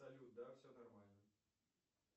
салют да все нормально